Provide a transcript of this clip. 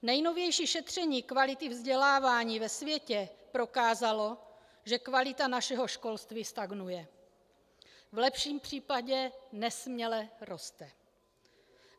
Nejnovější šetření kvality vzdělávání ve světě prokázalo, že kvalita našeho školství stagnuje, v lepším případě nesměle roste.